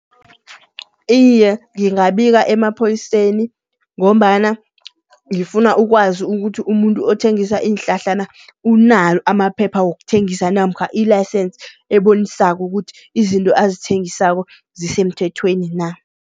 Iye, ngingabika emaphoyiseni ngombana ngifuna ukwazi ukuthi umuntu othengisa iinhlahla na. Unalo amaphepha wokuthengisa namkha i-license ebonisako ukuthi izinto azithengisako zisemthethweni na.